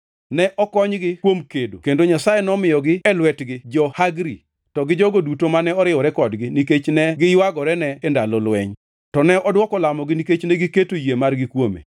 Ne okonygi kuom kedo kendo Nyasaye nomiyogi e lwetgi jo-Hagri, to gi jogo duto mane oriwore kodgi nikech ne giywagorene e ndalo lweny. To ne odwoko lamogi nikech negiketo yie margi kuome.